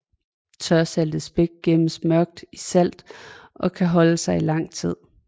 Tørsaltet spæk gemmes mørk i salt og kan holde sig i lang tid